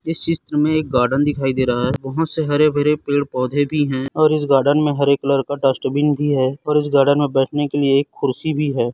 इस चित्र में एक गार्डन दिखाई दे रा है बहोत से हरे-भरे पेड़-पौधे भी है और इस गार्डन में हरे कलर का डस्टबिन भी है और इस गार्डन में बैठने के लिए एक कुर्सी भी है।